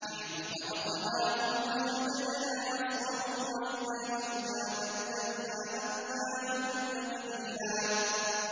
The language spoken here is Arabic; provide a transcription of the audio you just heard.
نَّحْنُ خَلَقْنَاهُمْ وَشَدَدْنَا أَسْرَهُمْ ۖ وَإِذَا شِئْنَا بَدَّلْنَا أَمْثَالَهُمْ تَبْدِيلًا